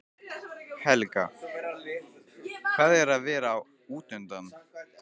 Helga: Hvað er að vera útundan?